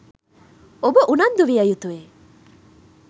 ඔබ උනන්දු විය යුතුයි